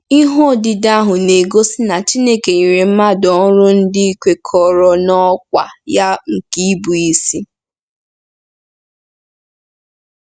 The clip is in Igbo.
Ihe odide ahụ na-egosi na Chineke nyere mmadụ ọrụ ndị kwekọrọ n'ọkwá ya nke ịbụisi.